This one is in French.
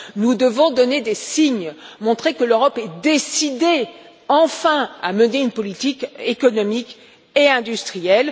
Nous devons donner des signes, montrer que l'Europe est décidée, enfin, à mener une politique économique et industrielle.